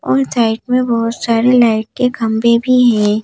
और साइड में बहुत सारे लाइट के खंबे भी हैं।